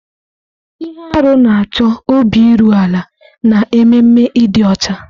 Ihe arụ na-achọ obi iru ala na ememe ịdị ọcha.